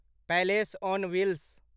palace on wheels